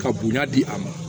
Ka bonya di a ma